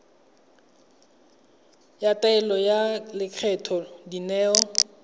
ya taelo ya lekgetho dineo